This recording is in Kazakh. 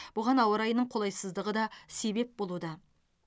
бұған ауа райының қолайсыздығы да себеп болуда